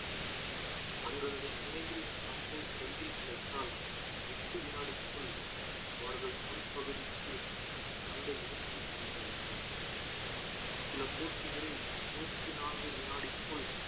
தங்களது முனையில் பந்தை கையில் கிடைத்தால் எட்டு வினாடிக்குள் அவர்கள் முன்பகுதிக்கு பந்தை எடுத்து செல்ல வேண்டும் சில போட்டிகளில் இருபத்தி நான்கு வினாடிக்குள்